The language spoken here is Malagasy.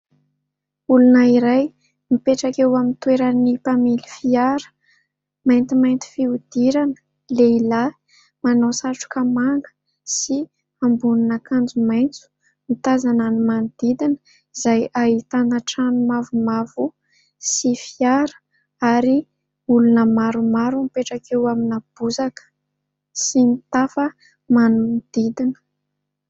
Olona iray mipetraka eo amin'ny toeran'ny mpamily fiara, maintimainty fihodirana, lehilahy manao satroka manga sy ambonin'akanjo maitso. Mitazana ny manodidina, izay ahitana trano mavomavo sy fiara ary olona maromaro mipetraka eo amina bozaka sy nitafa manodidina.